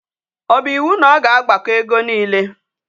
O bu iwu na o ga agbako ego niile?